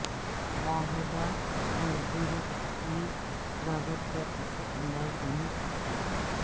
معاہدہ مزدور کی لاگت پر اثر انداز نہیں کرتا